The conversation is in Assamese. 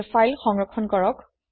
এতিয়া ফাইল সংৰক্ষণ কৰক